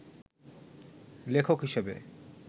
লেখক হিসেবে